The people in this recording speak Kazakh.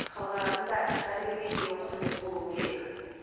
халық арасында дәрігерге деген құрмет болуы керек